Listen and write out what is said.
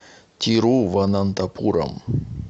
тируванантапурам